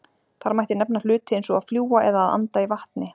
Þar mætti nefna hluti eins og að fljúga eða að anda í vatni.